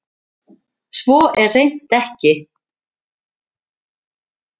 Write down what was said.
Svo er hreint ekki